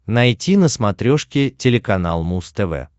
найти на смотрешке телеканал муз тв